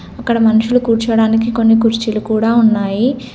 అక్కడ మనుషులు కూర్చోవడానికి కొన్ని కుర్చీలు కూడా ఉన్నాయి.